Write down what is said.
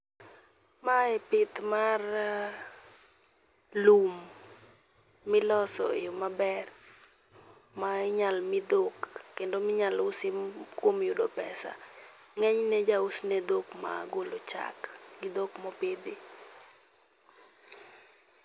Mae pith marrr lum miloso e yo maber ma inyal mii dhok kendo minyalo usi kuom yudo pesa. Ng'enyne ija us ne dhok magolo chak gi dhok mopidhi.